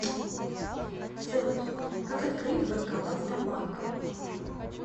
салют как открыть банкомат сбербанка